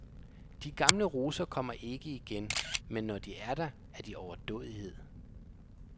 De gamle roser kommer ikke igen, men når de er der, er det overdådighed.